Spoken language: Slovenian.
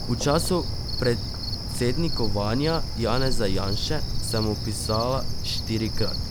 V času predsednikovanja Janeza Janše sem mu pisala štirikrat.